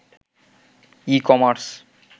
e-commerce